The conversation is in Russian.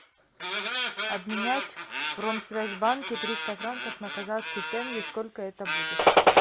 обменять в промсвязьбанке триста франков на казахский тенге сколько это будет